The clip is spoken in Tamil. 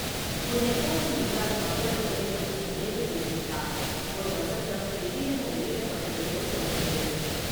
முன்னெப்போதும் இல்லாத மக்கள் பதிலைப் பற்றி நேரு குறிப்பிட்டார், "ஒரு வசந்தம் திடீரென வெளியிடப்பட்டது போல் தோன்றியது."